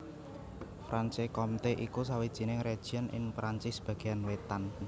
Franche Comté iku sawijining région ing Perancis bagéan wétan